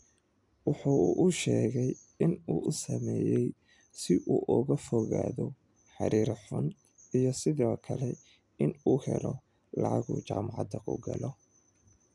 Waxa uu sheegay in uu u sameeyay si uu uga fogaado xiriir xun, iyo sidoo kale in uu helo lacag uu jaamacad ku galo.